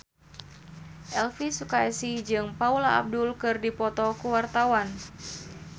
Elvy Sukaesih jeung Paula Abdul keur dipoto ku wartawan